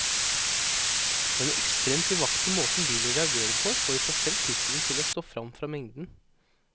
Den ekstremt livaktige måten bilen reagerer på får i seg selv tittelen til å stå frem fra mengden.